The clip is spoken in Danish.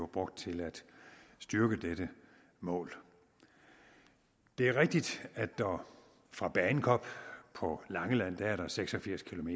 brugt til at styrke dette mål det er rigtigt at der fra bagenkop på langeland er seks og firs km